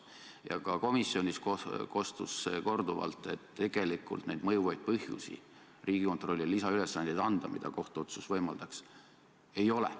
Ja ka komisjonis kostus see korduvalt, et tegelikult neid mõjuvaid põhjusi Riigikontrollile lisaülesandeid anda, mida kohtuotsus võimaldaks, ei ole.